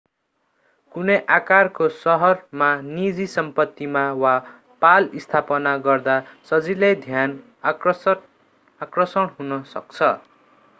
कुनै आकारको शहरमा निजी सम्पत्तिमा वा पाल स्थापना गर्दा सजिलै ध्यान आकर्षण हुन सक्छ